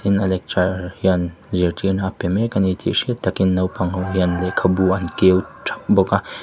a lecturer hian zirtirna a pe mek a ni tih hriat takin naupang ho hian lehkhabu an keu thap bawk a.